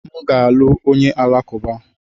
M ga-alụ onye Alakụba.